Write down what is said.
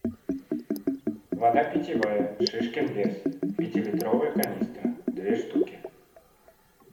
вода питьевая шишкин лес пятилитровая канистра две штуки